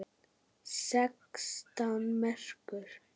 Sextán merkur!